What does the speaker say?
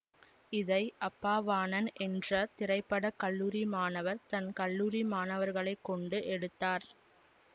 இதை அப்பாவாணன் என்ற திரை பட கல்லூரி மாணவர் தன் கல்லூரி மாணவர்களை கொண்டு எடுத்தார்